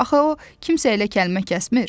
Axı o kimsə ilə kəlmə kəsmir.